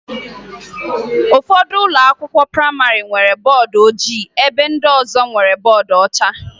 Ụfọdụ ụlọakwụkwọ prayịmarị nwere bọọdụ ojii ebe ndị ọzọ nwere bọọdụ ọcha